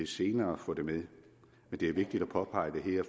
senere få det med men det er vigtigt at påpege det her